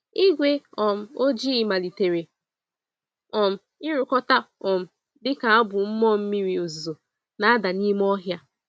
Igwe um ojii malitere um irukọta um dịka abụ mmụọ mmiri ozuzo na-ada n'ime ọhịa.